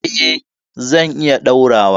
Eh zan iya ɗaurawa.